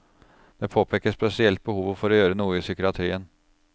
Det påpeker spesielt behovet for å gjøre noe i psykiatrien.